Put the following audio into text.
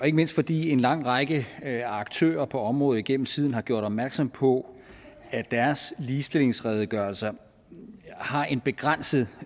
ikke mindst fordi en lang række aktører på området igennem tiden har gjort opmærksom på at deres ligestillingsredegørelser har en begrænset